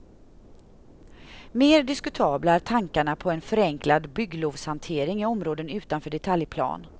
Mer diskutabla är tankarna på en förenklad bygglovshantering i områden utanför detaljplan.